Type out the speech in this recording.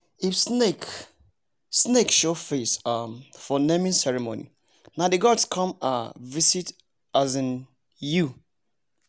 if snake snake show face um for naming ceremony nah the gods con um visit um you